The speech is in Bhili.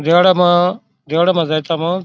जड़ म जड़ म जायत मा --